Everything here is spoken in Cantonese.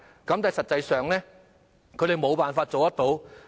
但是，實際上，他們無法做得到。